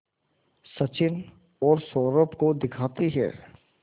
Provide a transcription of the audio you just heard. सचिन और सौरभ को दिखाती है